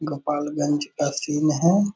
गोपालगंज का सीन है।